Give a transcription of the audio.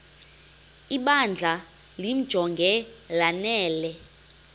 ibandla limjonge lanele